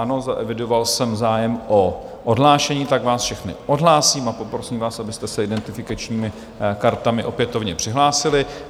Ano, zaevidoval jsem zájem o odhlášení, tak vás všechny odhlásím a poprosím vás, abyste se identifikačními kartami opětovně přihlásili.